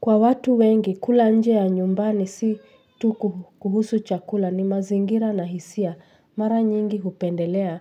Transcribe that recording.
Kwa watu wengi kula nje ya nyumbani si tu kuhusu chakula ni mazingira na hisia mara nyingi hupendelea